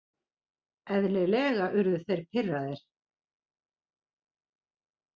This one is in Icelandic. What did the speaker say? Eðlilega urðu þeir pirraðir.